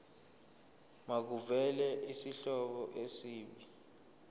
makuvele isihloko isib